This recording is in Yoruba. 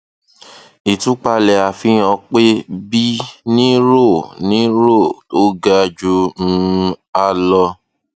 ìtúpalẹ àfihàn pé b ní roe ní roe tó ga ju um a lọ